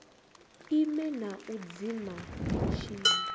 ime na u dzima mutshini